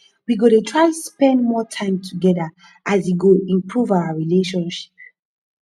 we go dey try spend more time togeda e go improve our relationship